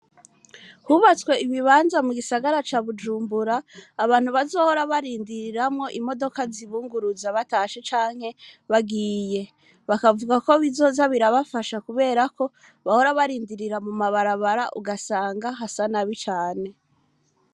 Hubatswe ibibanza mu gisagara ca bujumbura abantu bazohora barindiriramwo imodoka zibunguruza batashe canke bagiye bakavuga ko bizoza birabafasha kuberako bahora barindirira mu mabarabara ugasanga hasana bi cane.